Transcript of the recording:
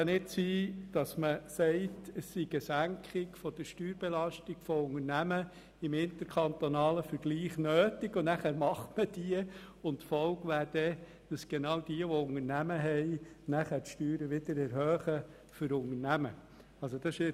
Es kann nicht sein, dass man eine Senkung der Steuerbelastung von Unternehmen aufgrund des interkantonalen Vergleichs beschliesst und dann den Gemeinden die Kompetenz gibt, die Steuern für Unternehmen wieder zu erhöhen.